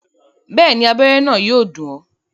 Bẹ́ẹ̀ni, abẹ́rẹ́ náà yóò dùn ọ́